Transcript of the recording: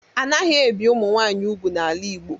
Anaghị ebi Ụmụnwaanyị ugwu n'ala Igbo